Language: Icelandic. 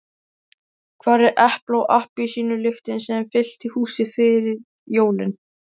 Hvar er epla- og appelsínulyktin sem fyllti húsið fyrir jólin?